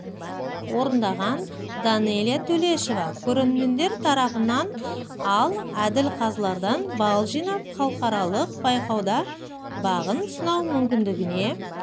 орындаған данэлия төлешова көрермендер тарапынан ал әділ қазылардан балл жинап халықаралық байқауда бағын сынау мүмкіндігіне